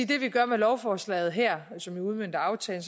vi gør med lovforslaget her som jo udmønter aftalen